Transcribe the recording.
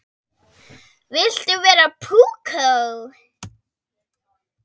Viltu vera púkó?